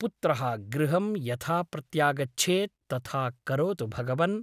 पुत्रः गृहं यथा प्रत्यागच्छेत् तथा करोतु भगवन् !